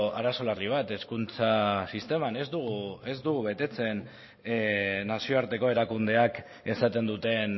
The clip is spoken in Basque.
arazo larri bat hezkuntza sisteman ez dugu betetzen nazioarteko erakundeak esaten duten